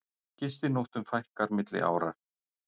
Gistinóttum fækkar milli ára